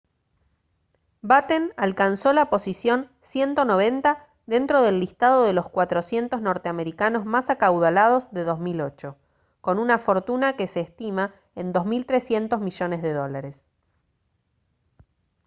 batten alcanzó la posición 190 dentro del listado de los 400 norteamericanos más acaudalados de 2008 con una fortuna que se estima en $2300 millones de dólares